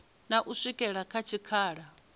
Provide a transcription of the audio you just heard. na u swikela kha tshikhala